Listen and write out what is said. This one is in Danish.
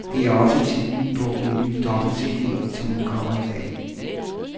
Det er også titlen på en ny dobbelt cd, som udkommer i dag.